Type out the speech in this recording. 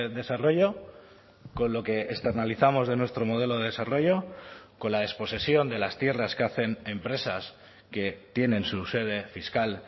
desarrollo con lo que externalizamos de nuestro modelo de desarrollo con la desposesión de las tierras que hacen empresas que tienen su sede fiscal